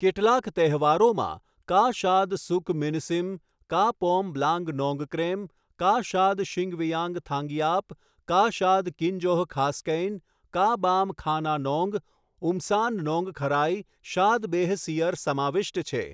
કેટલાંક તહેવારોમાં 'કા શાદ સુક મિનસીમ', 'કા પોમ બ્લાંગ નોંગક્રેમ', 'કા શાદ શિંગવિયાંગ થાંગિયાપ', 'કા શાદ કિન્જોહ ખાસ્કૈન', 'કા બામ ખાના નોંગ', 'ઉમ્સાન નોંગખરાઈ', 'શાદ બેહ સિયર' સમાવિષ્ટ છે.